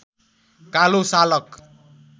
कालो सालक